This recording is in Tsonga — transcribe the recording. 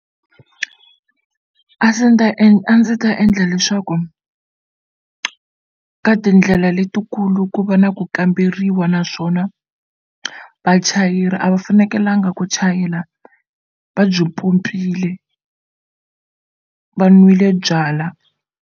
A a ndzi ta endla leswaku ka tindlela letikulu ku va na ku kamberiwa naswona vachayeri a va fanekelanga ku chayela va byi pompile va nwile byalwa.